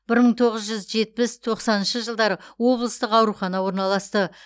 бір мың тоғыз жүз жетпіс тоқсаныншы жылдары облыстық аурухана орналасты